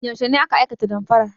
Yaushe ne aka aikata damfarar?